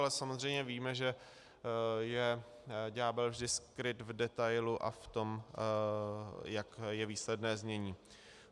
Ale samozřejmě víme, že je ďábel vždy skryt v detailu a v tom, jak je výsledné znění.